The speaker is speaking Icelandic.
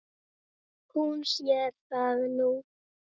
Hún sér það nú.